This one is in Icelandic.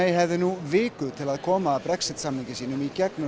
hefði núna viku til að koma Brexit samningi sínum í gegnum